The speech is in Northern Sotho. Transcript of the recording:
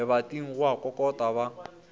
lebating go a kokotwa ba